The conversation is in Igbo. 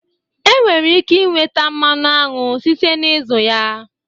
E nwere ike inweta mmanụ aṅụ site n'izu ya